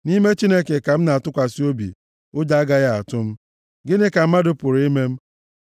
nʼime Chineke ka m na-atụkwasị obi; ụjọ agaghị atụ m. Gịnị ka mmadụ pụrụ ime m?